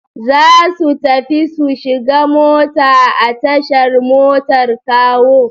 Za su tafi su shiga mota a tashar motar Kawo.